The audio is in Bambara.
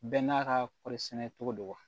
Bɛɛ n'a ka kɔɔri sɛnɛ cogo don wa